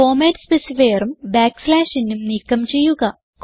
format specifierഉം n ഉം നീക്കം ചെയ്യുക